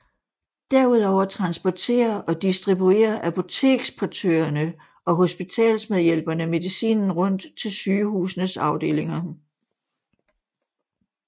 Derudover transporterer og distribuerer apoteksportørerne og hospitalsmedhjælperne medicinen rundt til sygehusenes afdelinger